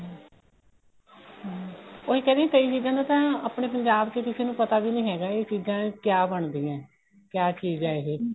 ਹਮ ਉਹੀ ਕਹਿ ਰਹੀ ਆ ਕਈ ਚੀਜ਼ਾਂ ਤੋਂ ਤਾਂ ਆਪਣੇ ਪੰਜਾਬ ਚ ਕਿਸੇ ਨੂੰ ਪਤਾ ਵੀ ਨਹੀਂ ਹੈਗਾ ਇਹ ਚੀਜ਼ਾਂ ਕਿਆ ਬਣਦੀਆਂ ਕਿਆ ਚੀਜ਼ ਏ ਇਹ